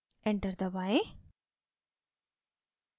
enter दबाएँ